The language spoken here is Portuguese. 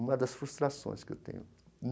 Uma das frustrações que eu tenho.